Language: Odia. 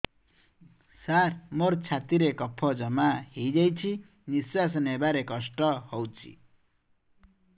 ସାର ମୋର ଛାତି ରେ କଫ ଜମା ହେଇଯାଇଛି ନିଶ୍ୱାସ ନେବାରେ କଷ୍ଟ ହଉଛି